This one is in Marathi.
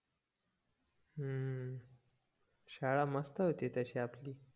हम्म शाळा मस्त होती तशी आपली